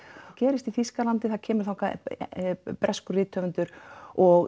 gerist í Þýskalandi það kemur þangað breskur rithöfundur og